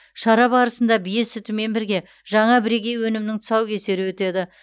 шара барысында бие сүтімен бірге жаңа бірегей өнімнің тұсаукесері өтеді